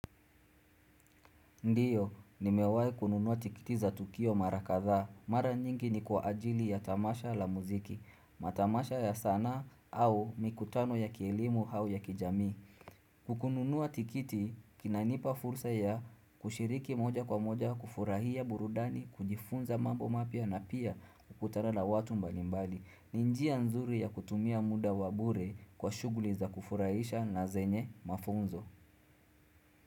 Ndio, nimewahi kununua tikiti za Tukio mara kadhaa. Mara nyingi ni kwa ajili ya tamasha la muziki. Matamasha ya sanaa au mikutano ya kielimu au ya kijamii. Kununuwa tikiti, inanipa fursa ya kushiriki moja kwa moja, kufurahia burudani, kujifunza mambo mapya na pia kukutana la watu mbalimbali. Ni njia nzuri ya kutumia muda wabure kwa shuguli za kufurahisha na zenye mafunzo.